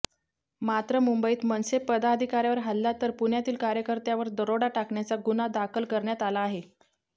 मात्र मुंबईत मनसे पदाधिकाऱ्यावर हल्ला तर पुण्यातील कार्यकर्त्यावर दरोडा टाकण्याचा गुन्हा दाखल करण्यात आला आहे